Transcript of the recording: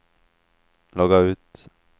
logga ut